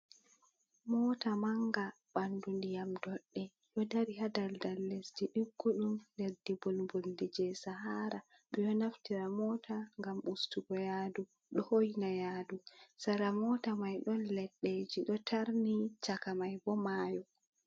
Mota manga ɓandu ndiyam ɗodɗe ɗo dari ha daldal lesdi diggudum, leddi mbulbuldi je sahara, ɓe ɗo naftira mota ngam ustugo yaadu ɗo hoyna yaadu sera mota mai ɗon leɗɗeji do tarni chaka mai bo mayo.